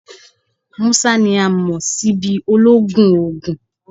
Musa ni a mọ si bi ologun oogun